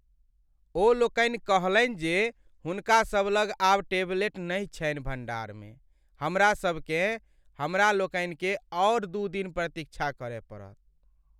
ओ लोकनि कहलनि जे हुनका सभ लग आब टेबलेट नहि छन्हि भण्डार में हमरा सभकेँ। हमरा लोकनि के आओर दू दिन प्रतीक्षा करय पड़त।